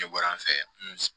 Ne bɔra an fɛ